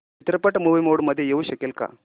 चित्रपट movie mode मध्ये येऊ शकेल का